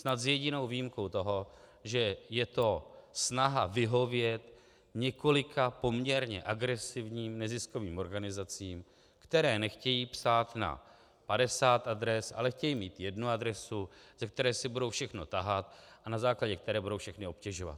Snad s jedinou výjimkou toho, že je to snaha vyhovět několika poměrně agresivním neziskovým organizacím, které nechtějí psát na 50 adres, ale chtějí mít jednu adresu, ze které si budou všechno tahat a na základě které budou všechny obtěžovat.